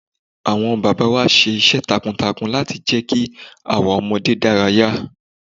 Àwọn bàbá wa ṣe iṣẹ́ takuntakun láti jẹ́ kí àwọn ọmọdé dárayá.